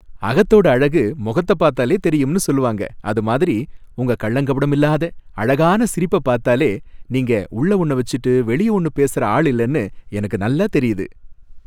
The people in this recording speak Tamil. அகத்தோட அழகு முகத்த பார்த்தாலே தெரியும்னு சொல்லுவாங்க, அது மாதிரி உங்க கள்ளங்கபடமில்லாத அழகான சிரிப்ப பார்த்தாலே நீங்க உள்ள ஒன்ன வச்சுட்டு வெளிய ஒன்னு பேசுற ஆள் இல்லனு எனக்கு நல்லா தெரியுது.